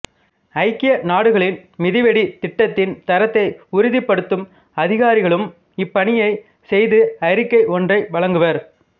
ஐக்கிய நாடுகளின் மிதிவெடி திட்டத்தின் தரத்தை உறுதிப்படுத்தும் அதிகாரிகளும் இப்பணியைச் செய்து அறிக்கை ஒன்றை வழங்குவர்